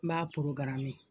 N b'a